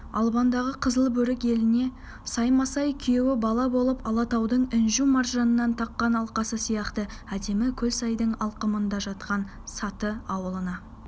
албандағы қызылбөрік еліне саймасай күйеу бала болып алатаудың інжу-маржаннан таққан алқасы сияқты әдемі көлсайдың алқымында жатқан саты ауылына